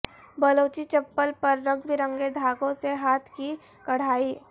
بلوچی چپل پر رنگ برنگے دھاگوں سے ہاتھ کی کڑھائی